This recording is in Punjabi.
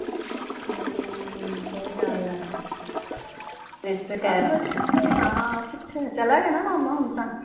ਹਮ ਸਹੀ ਗੱਲ ਐ , ਚਲਾ ਗਿਆ ਨਾ ਮਾਮਾ ਹੁਣ ਤਾਂ?